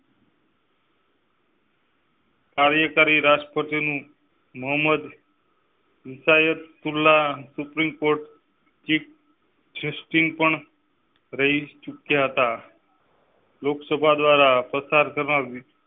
કાર્યકારી રાષ્ટ્રપતિ મોહમ્મદ ખુલ્લા સુપ્રીમ કોર્ટ. સ્ટિંગ પણ. રહી ચુક્યા હતા લોકસભા દ્વારા પસાર કરવામાં.